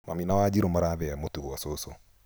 Mami na Wanjirũ marathĩa mũtu gwa cũcũ